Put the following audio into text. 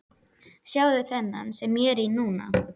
Sjáðu þennan sem ég er í núna?